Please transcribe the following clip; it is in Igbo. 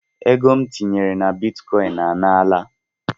Ego m tinyere na bitkoin a nala